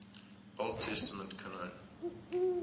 old testament canon